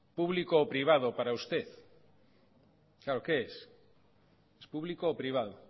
público o privado para usted qué es público o privado